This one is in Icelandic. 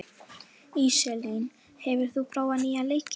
Íselín, hefur þú prófað nýja leikinn?